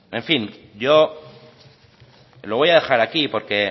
en fin yo lo voy a dejar aquí porque